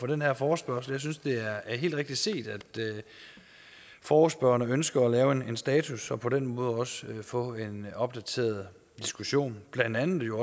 den her forespørgsel jeg synes det er er helt rigtigt set at forespørgerne ønsker at lave en status og på den måde også få en opdateret diskussion blandt andet jo